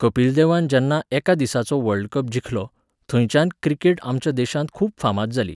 कपिल देवान जेन्ना एका दिसाचो वर्ल्डकप जिखलो, थंयच्यान क्रिकेट आमच्या देशांत खूब फामाद जाली.